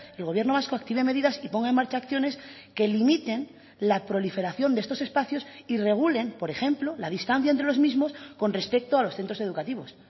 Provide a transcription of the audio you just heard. el gobierno vasco active medidas y ponga en marcha acciones que limiten la proliferación de estos espacios y regulen por ejemplo la distancia entre los mismos con respecto a los centros educativos